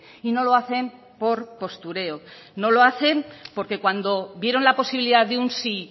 y no lo hacen por postureo no lo hacen porque cuando vieron la posibilidad de un sí